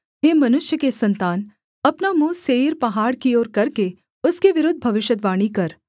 हे मनुष्य के सन्तान अपना मुँह सेईर पहाड़ की ओर करके उसके विरुद्ध भविष्यद्वाणी कर